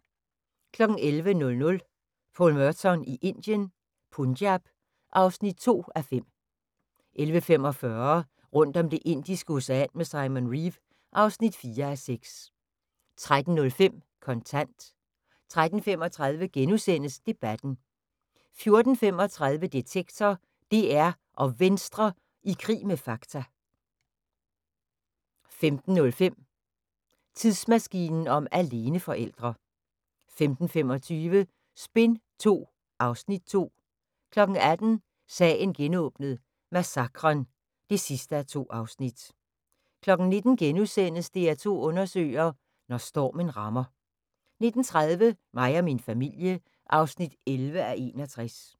11:00: Paul Merton i Indien – Punjab (2:5) 11:45: Rundt om Det indiske Ocean med Simon Reeve (4:6) 13:05: Kontant 13:35: Debatten * 14:35: Detektor: DR og Venstre i krig med fakta 15:05: Tidsmaskinen om aleneforældre 15:25: Spin II (Afs. 2) 18:00: Sagen genåbnet: Massakren (2:2) 19:00: DR2 undersøger: Når stormen rammer * 19:30: Mig og min familie (11:61)